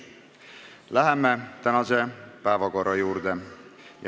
Läheme tänase päevakorrapunkti juurde.